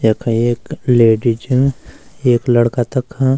यख एक लेडीज च एक लड़का तख।